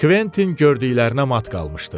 Kvettin gördüklərinə mat qalmışdı.